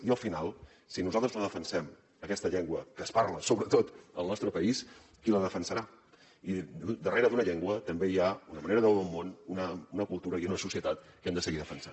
i al final si nosaltres no defensem aquesta llengua que es parla sobretot al nostre país qui la defensarà i darrere d’una llengua també hi ha una manera de veure el món una cultura i una societat que hem de seguir defensant